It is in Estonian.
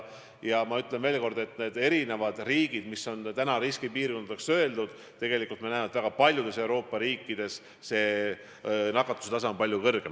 Ja ma ütlen veel kord, et osa riike on riskipiirkondadeks kuulutatud, aga tegelikult me näeme, et väga paljudes Euroopa riikides on nakatuse tase palju kõrgem.